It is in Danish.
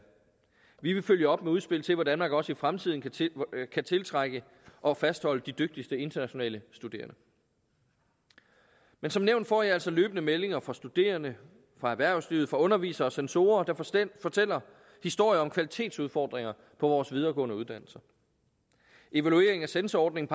vi vil følge op med udspil til hvordan man også i fremtiden kan tiltrække og fastholde de dygtigste internationale studerende men som nævnt får jeg altså løbende meldinger fra studerende fra erhvervslivet fra undervisere og censorer der forstemt fortæller historier om kvalitetsudfordringer på vores videregående uddannelser evaluering af censorordningen